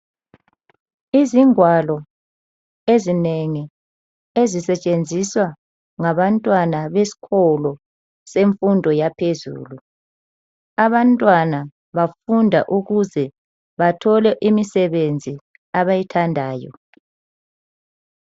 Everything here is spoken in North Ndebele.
Izingwalo ezinengi ezisetshenziswa ngabantwana besikolo semfundo yaphezulu. Abantwana bafunda ukuze bathole imsebenzi abayithandayo.